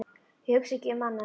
Ég hugsa ekki um annað en þig.